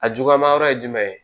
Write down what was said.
A juguma yɔrɔ ye jumɛn